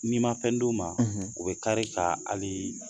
N'i ma fɛn d'u ma, u bɛ kari ka hali ye